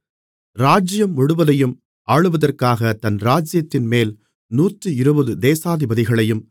ராஜ்ஜியம் முழுவதையும் ஆளுவதற்காகத் தன் ராஜ்ஜியத்தின்மேல் நூற்றிருபது தேசாதிபதிகளையும்